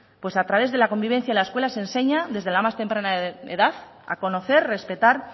pues a través de la convivencia la escuela se enseña desde la más temprana edad a conocer respetar